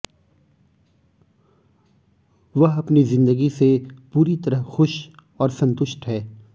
वह अपनी जिंदगी से पूरी तरह खुश और संतुष्ट है